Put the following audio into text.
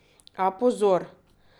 A pozor!